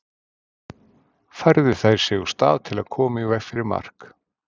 Færðu þær sig úr stað til að koma í veg fyrir mark?